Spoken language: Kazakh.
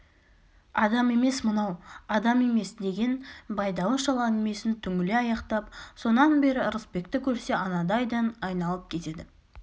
адам емес мынау адам емес деген байдалы шал әңгімесін түңіле аяқтап сонан бері ырысбекті көрсе анадайдан айналып кетеді